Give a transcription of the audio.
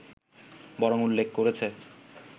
বরং উল্লেখ করেছে